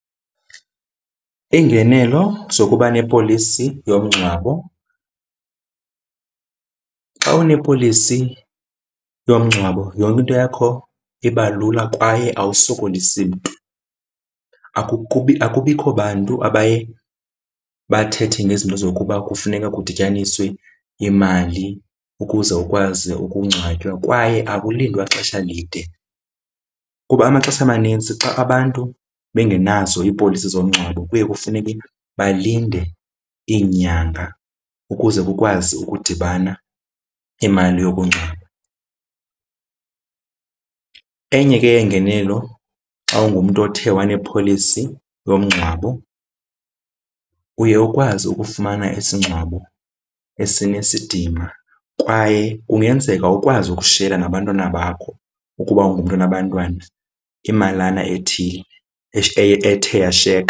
Iingenelo zokuba nepolisi yomngcwabo xa unepolisi yomngcwabo yonke into yakho iba lula kwaye awusokolisi mntu. Akubikho bantu abaye bathethe ngezinto zokuba kufuneka kudityaniswe imali ukuze ukwazi ukungcwatywa kwaye akulindwa ixesha lide. Kuba amaxesha amanintsi xa abantu bengenazo iipolisi zomngcwabo, kuye kufuneke balinde iinyanga ukuze kukwazi ukudibana imali yokungcwaba. Enye ke yeengenelo xa ungumntu othe wanepolisi yomngcwabo, uye ukwazi ukufumana isingcwabo esinesidima kwaye kungenzeka ukwazi ukushiyela nabantwana bakho ukuba ungumntu onabantwana imalana ethile ethe yashiyeka.